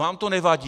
Vám to nevadí?